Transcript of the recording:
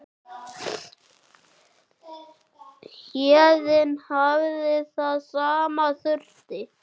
Héðinn hafði það sem þurfti.